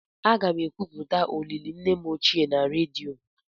Aga m ekwupụta olili nne m ochie na redio.